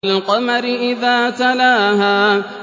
وَالْقَمَرِ إِذَا تَلَاهَا